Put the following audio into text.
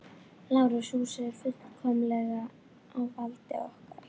LÁRUS: Húsið er fullkomlega á valdi okkar.